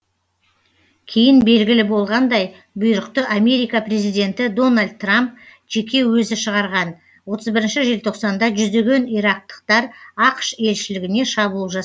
кейін белгілі болғандай бұйрықты америка президенті дональд трамп жеке өзі шығарған желтоқсанда жүздеген ирактықтар ақш елшілігіне шабуыл жасады